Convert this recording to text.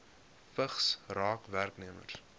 vigs raak werknemers